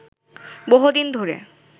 বহুদিন ধরে